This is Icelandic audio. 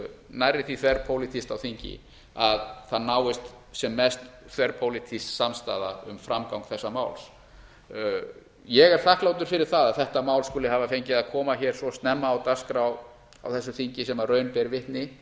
nærri því þverpólitískt á þingi að það náist sem mest þverpólitísk samstaða um framgang þessa máls ég er þakklátur fyrir það að þetta mál skuli hafa fengið að koma hér svo snemma á dagskrá á þessu þingi sem raun ber vitni